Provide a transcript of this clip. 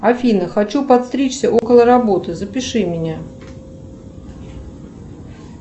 афина хочу подстричься около работы запиши меня